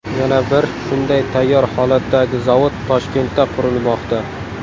Yana bir shunday tayyor holatdagi zavod Toshkentda qurilmoqda.